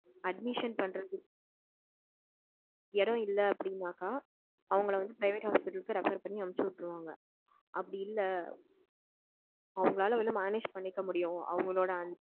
admission பண்றதுக்கு இடம் இல்ல அப்படினாக்க, அவங்கள வந்து private hospital க்கு refer பண்ணி அனுப்புச்சு விட்டுருவாங்க, அப்படி இல்ல அவங்களால வந்து manage பண்ணிக்க முடியும் அவங்களோட அந்த.